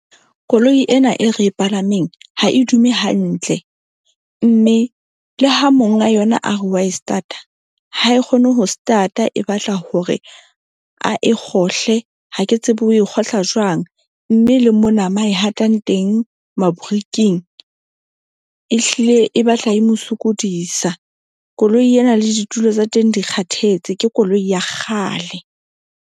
Koloi ena e re e palameng ha e dume hantle. Mme le ha monga yona a re wa e stata ha e kgone ho stata, e batla hore a e kgohle. Ha ke tsebe o e kgohla jwang, mme le mona mo a e hatang teng mariking. Ehlile e batla e mo sokodisa. Koloi ena le ditulo tsa teng di kgathetse ke koloi ya kgale.